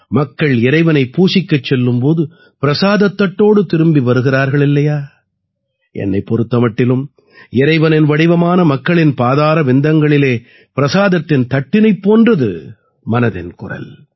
மக்கள் இறைவனை பூசிக்கச் செல்லும் போது பிரசாதத் தட்டோடு திரும்பி வருகிறார்கள் இல்லையா என்னைப் பொறுத்த மட்டிலும் இறைவனின் வடிவமான மக்களின் பாதாரவிந்தங்களிலே பிரசாதத்தின் தட்டினைப் போன்றது மனதின் குரல்